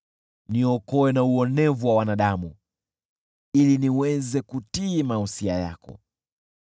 Niokoe na uonevu wa wanadamu, ili niweze kutii mausia yako.